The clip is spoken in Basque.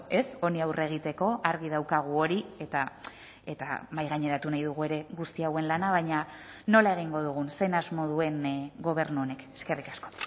ez honi aurre egiteko argi daukagu hori eta eta mahaigaineratu nahi dugu ere guzti hauen lana baina nola egingo dugun zein asmo duen gobernu honek eskerrik asko